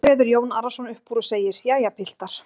Svo kveður Jón Arason upp úr og segir:-Jæja, piltar.